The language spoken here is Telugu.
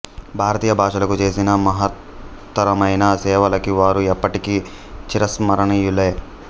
భారతీయ భాషలకు చేసిన మహత్తరమైన సేవలకి వారు ఎప్పటికీ చిరస్మరణీయులే